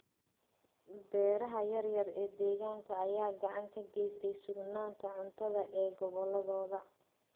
Beeraha yaryar ee deegaanka ayaa gacan ka geysta sugnaanta cuntada ee goboladooda.